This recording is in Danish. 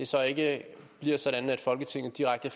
så ikke bliver sådan at folketinget direkte